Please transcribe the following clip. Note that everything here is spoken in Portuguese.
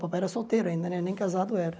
Papai era solteiro ainda, nem casado era.